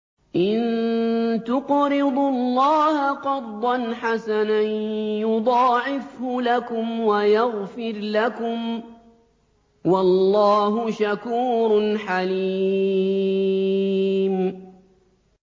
إِن تُقْرِضُوا اللَّهَ قَرْضًا حَسَنًا يُضَاعِفْهُ لَكُمْ وَيَغْفِرْ لَكُمْ ۚ وَاللَّهُ شَكُورٌ حَلِيمٌ